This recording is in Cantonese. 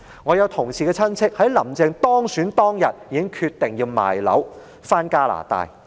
我同事的親戚在"林鄭"當選當天已經決定出售物業，返回加拿大。